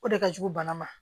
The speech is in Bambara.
O de ka jugu bana ma